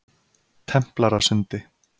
Templarasundi